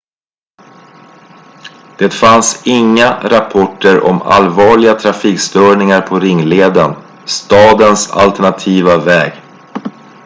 det fanns inga rapporter om allvarliga trafikstörningar på ringleden stadens alternativa väg